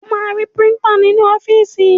O máa ri Píríńtà nínú ọ́fíìsì.